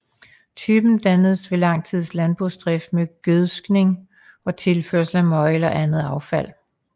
Typen dannes ved lang tids landbrugsdrift med gødskning og tilførsel af møg eller andet affald